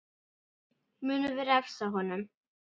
Munum við refsa honum?